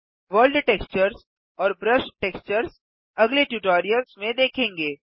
world textures और brush textures आगले tutorials में देखेंगे